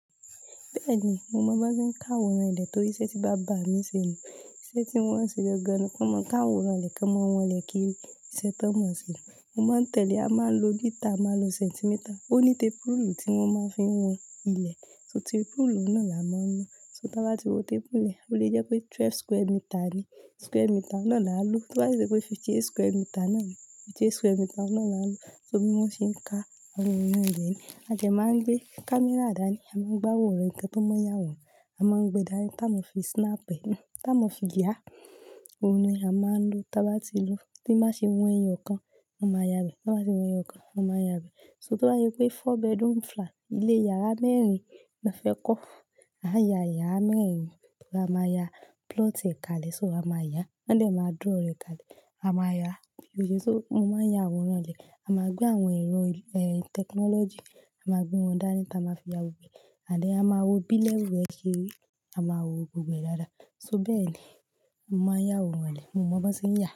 Bẹ́ẹ̀ni, mo mọ́ bí wọ́n ṣe ń ka àwòrán ilé torí iṣẹ́ tí bàbá mi ṣe ni. Iṣẹ́ tí wọ́n ṣe gangan ni wọn máa ń ka àwòrán ilé, kí wọn máa wọ̀n ilé kíri ìṣe tán mọ́ se. Mo máa ń tẹ̀lé. A máa ń lo lítà, a máa ń lo sẹ́ńtímítà. Ó ní tépúrúùlù tí wọ́n máa ń fi wọn ilé, ṣò tépúrúùlù náà la máa ń lò. So tí wọ́n bá ti wọ́n tépúrúùlù lẹ́ẹ̀, ó lè jẹ́ pé twelve square meter ni, square meter náà la lò. Tí wọ́n bá jẹ́ pé fifty-eight square meter na ni, fifty-eight square meter náà la ń lò. So bí wọ́n ṣe ń ka àwòrán ilé ni. A dẹ máa ń gbé kámẹ́rà dání, a máa ń gba àwòrán ǹkan tó máa yà wò, a máa ń gbé dání tá a máa fi snap ẹ, tá a máa fi yà. Ohun ni a máa ń lò. Tí a bá ti lò, tí wọ́n bá ṣe wọn ẹyọ kan, wọn máa yà bẹ́ẹ̀. Tí wọ́n bá ti wọn ẹyọ kan, wọn máa yà bẹ́ẹ̀. So tí wọ́n yà wípé four bedroom flat, ilé yàrá mẹ́rin lọ́ fẹ́ kọ́, a yà iyàrá mẹ́rin. A máa ya plot ẹ̀ka lè, ṣó a máa yà. Wọ́n de máa draw rẹ̀ kále, a máa yà. Bí ó ṣe mo máa ń ya àwòrán ilé. A máa gbé àwọn ẹ̀rọ, eh, tẹkinọ́lọ́jì, a máa gbé wọn dání tá a máa fi ya gbogbo ẹ̀. And then a máa wo bí level ẹ́ ṣe rí, a máa wo gbogbo ẹ̀ dáadáa. So bẹ́ẹ̀ ni mo máa ń yà àwòrán ilé. Mo mọ̀ ọ́n bó ṣe ń yà.